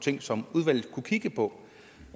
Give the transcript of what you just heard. ting som udvalget kunne kigge på